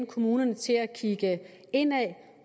kommunerne til at kigge indad